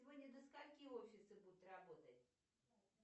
сегодня до скольки офисы будут работать